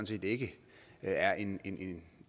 set ikke er en